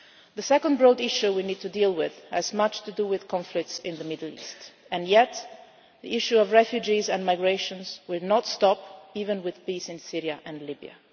Balkans. The second broad issue we need to deal with has much to do with conflicts in the Middle East, and yet the issue of refugees and migrations will not stop even with peace in Syria